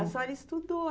A senhora estudou